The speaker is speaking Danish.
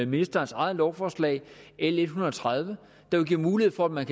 ministerens eget lovforslag l en hundrede og tredive der vil give mulighed for at man